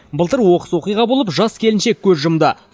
былтыр оқыс оқиға болып жас келіншек көз жұмды